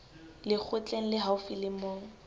lekgotleng le haufi le moo